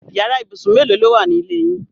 Yàrá ibùsùn mélòó lówà ni ilé yín?